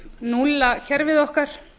núlla kerfið okkar